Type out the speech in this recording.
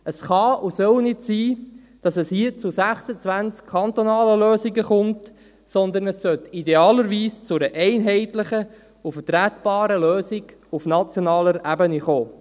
Es kann und soll nicht sein, dass es hier zu 26 kantonalen Lösungen kommt, sondern es sollte idealerweise zu einer einheitlichen und vertretbaren Lösung auf nationaler Ebene kommen.